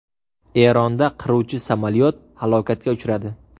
Eronda qiruvchi samolyot halokatga uchradi.